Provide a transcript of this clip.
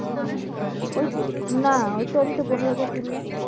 হ্যাঁ। ওই~না ওইতো আমি তো পনেরো হাজার তুললাম।